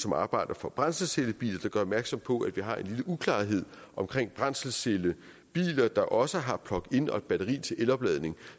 arbejder for brændselscellebiler og de gør opmærksom på at vi har en lille uklarhed omkring brændselscellebiler der også har plugin og batteri til elopladning og